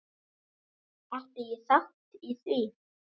Átti ég þátt í því?